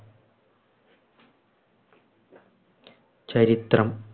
ചരിത്രം